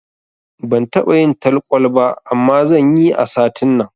Ban taɓa yin talkwal ba, amma zanyi a satin nan.